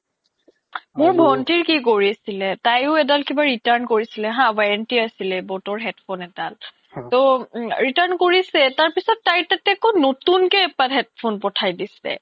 মোৰ ভন্তিৰ কি কৰিছিলে তাইও এদাল কিবা return কৰিছিলে হা warranty আছিলে boat headphone এদাল তো return কৰিছে তাৰ পিছত তাইৰ তাতে নতুন কে এক পাত headphone পথাই দিছে